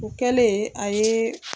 O kɛlen a ye.